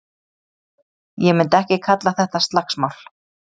Ég myndi ekki kalla þetta slagsmál.